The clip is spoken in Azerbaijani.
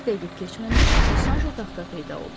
Bir dəqiqə keçməmiş Bosanjo taxta peyda oldu.